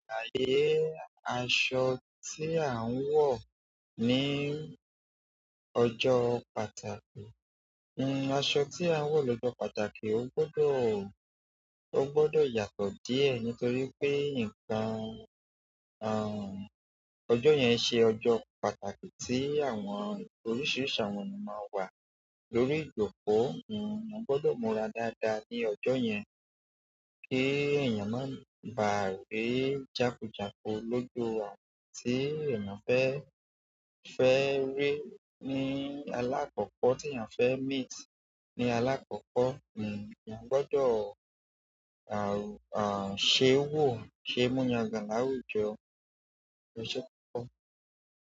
Ààyè aṣọ tí à ń wọ̀ ní ọjọ́ pàtàkì, aṣọ tí à ń wọ̀ lójó pàtàkì ó gbọdọ̀, ó gbọdọ̀ yàtọ̀ díẹ̀ nítorí pé nǹkan, ọjọ́ yẹn ṣe ọjọ́ pàtàkì tí àwọn oríṣiríṣi àwọn ènìyàn máa ń wà lórí ìjókòó. Èèyàn gbọ́dọ̀ múra dáadáa ní ọjọ́ yẹn kí èèyàn má ba à rí jákujáku lójú àwọn tí èèyàn fẹ́, fẹ́ rí ní alákọ̀ọ́kọ́ tí èèyàn fẹ́ meet ní alákọ̀ọ́kọ́. Èèyàn gbọ́dọ̀, ṣe wò, ṣe mú yangan láwùjọ oṣe kokọ.